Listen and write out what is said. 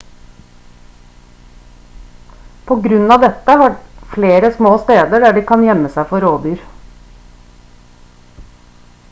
på grunn av dette har de flere små steder der de kan gjemme seg for rovdyr